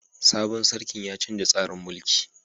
Sabon sarkin ya canza tsarin mulki.